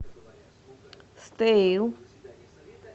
стеил